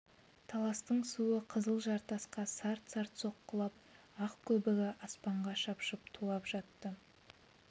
таластың суы қызыл жартасқа сарт-сарт соққылап ақ көбігі аспанға шапшып тулап жатты